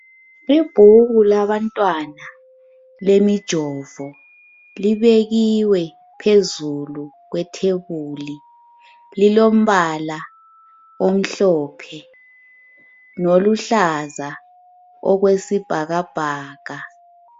Ibhuku labantwana lemijovo libekiwe phezulu kwethebuli, lilombala omhlophe loluhlaza okwesibhakabhaka.